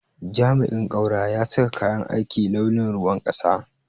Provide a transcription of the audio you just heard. jami'in kaura ya saka kayan aiki launin ruwan kasa.